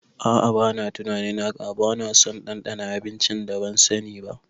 A'a bana tunanin haka, banaso ɗanɗana abincin da ban sani ba